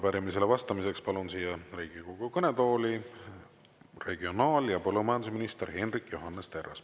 Ja arupärimisele vastamiseks palun siia Riigikogu kõnetooli regionaal- ja põllumajandusminister Hendrik Johannes Terrase.